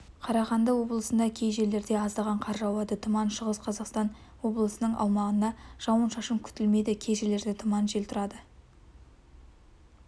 қарағанды облысында кей жерлерде аздаған қар жауады тұман шығыс қазақстан облысының аумағында жауын-шашын күтілмейді кей жерлерде тұман жел тұрады